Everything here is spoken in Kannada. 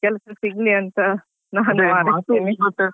ಕೆಲ್ಸ ಸಿಗ್ಲಿ ಅಂತ ನಾನು ಹಾರೈಸ್ತೇನೆ.